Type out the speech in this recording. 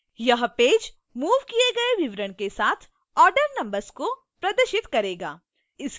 यह page moved किए गए विवरण के साथ order numbers को प्रदर्शित करेगा